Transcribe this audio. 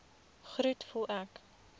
groet voel ek